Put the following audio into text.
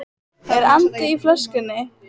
Er andi í flöskunni?